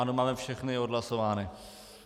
Ano, máme všechny odhlasovány.